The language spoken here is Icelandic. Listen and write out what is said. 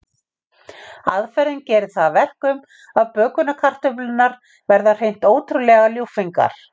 Aðferðin gerir það að verkum að bökunarkartöflurnar verða hreint ótrúlega ljúffengar.